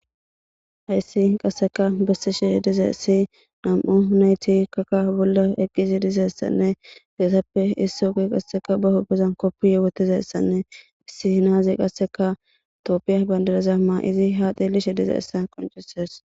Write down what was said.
Hayssi qasseka bessisheh diza issi nam7u yunayti kaka bolla eqqizi dizaessanne deesappe iss ogo qasseka ba hobezan koppi yewotizaessanne issi hinaazi qasseka itoopiya bandadeza ma izi ha deelishe diza issa qoncises.